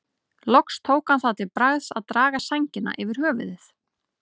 Loks tók hann það til bragðs að draga sængina yfir höfuðið.